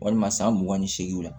Walima san mugan ni seegin la